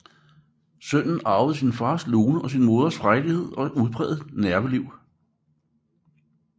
Sønnen arvede sin faders lune og sin moders frejdighed og udprægede nerveliv